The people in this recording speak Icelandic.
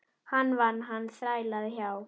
Hann vann, hann þrælaði hjá